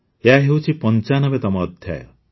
ଏହା ହେଉଛି ୯୫ତମ ଅଧ୍ୟାୟ